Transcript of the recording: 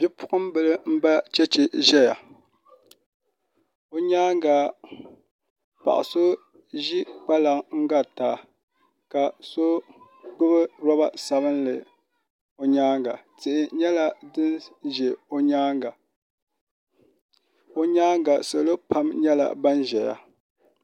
Bipuɣimbila m-ba cheche n-zaya o nyaaŋa paɣ' so ʒi kpalaŋa n-garita ka so gbubi lɔba sabinli o nyaaŋa tihi nyɛla din n-za o nyaaŋa salo pam nyɛla ban ʒiya